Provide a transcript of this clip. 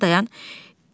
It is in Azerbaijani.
Mirzə dayan, dayan.